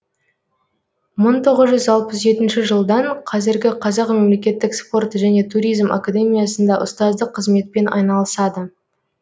мың тоғыз жүз алпыс жетінші жылдан қазіргі қазақ мемлекеттік спорт және туризм академиясында ұстаздық қызметпен айналысады